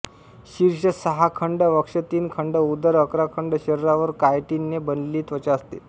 शीर्ष सहा खंड वक्ष तीन खंड उदर अकरा खंड शरीरावर कायटिनने बनलेली त्वचा असते